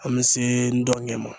An bɛ se n dɔngɛ ma